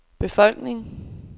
befolkning